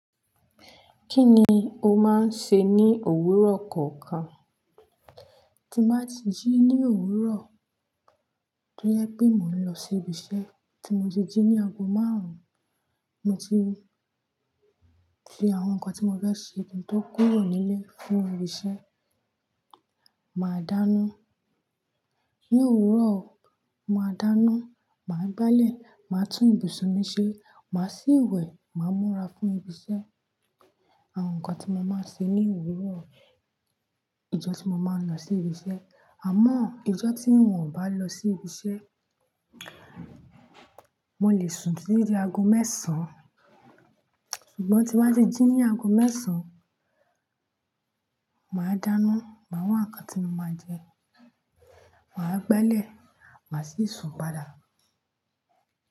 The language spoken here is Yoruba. Kí ni o máa ń ṣe ní òwúrọ̀ kọ̀ọ̀kan? Ti mo bá ti jí ní òwúrọ̀, tójèpẹ́ mo ń lọ sí ibi iṣẹ́, tí mo ti jí ní ago márùn-ún, mo ti fi àwọn nǹkan tí mo fẹ́ ṣe, ohun tó kúrò nílé fún ibi iṣẹ́, màá dáná. Ni òwúrọ̀, màá dáná, màá gbálẹ̀, màá tún ibùsùn mi ṣe, màá ṣí ìwẹ̀, màá múra fún ibi iṣẹ́. Àwọn nǹkan tí mo máa ń ṣe ní òwúrọ̀, ìjọ́ tí mo máa ń lọ sí ibi iṣẹ́. Àmọ́ ìjọ́ tí n ò bá lọ sí ibi iṣẹ́, mo lè sùn dídi ago mẹ́ẹ̀sán. Ṣùgbọ́n tí mo bá ti jí ní ago mẹ́ẹ̀sán, màá dáná, màá wá nǹkan tí mo máa jẹ, màá gbálẹ̀, màá sì sùn padà.